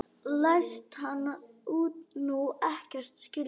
Læst hann nú ekkert skilja?